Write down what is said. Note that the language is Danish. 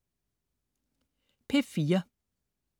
P4: